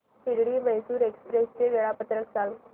Shirdi Mysore express चे वेळापत्रक सांग